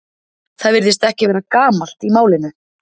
Það virðist ekki vera gamalt í málinu.